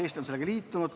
Eesti on sellega liitunud.